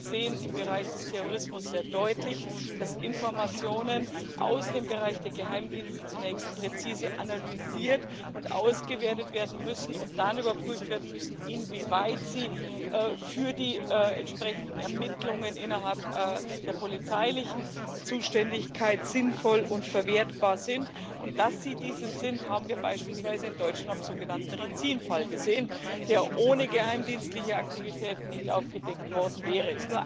Wir sehen im Bereich des Terrorismus sehr deutlich, dass Informationen aus dem Bereich der Geheimdienste zunächst präzise analysiert und ausgewertet werden müssen und dann daraufhin überprüft werden müssen, inwieweit sie für die entsprechenden Ermittlungen innerhalb der polizeilichen Zuständigkeit sinnvoll und verwertbar sind. Und dass sie dieses sind, haben wir beispielsweise in Deutschland beim sogenannten Rizin Fall gesehen, der ohne geheimdienstliche Aktivitäten nicht aufgedeckt worden wäre.